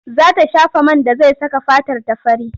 Za ta shafa man da zai saka fatarta fari.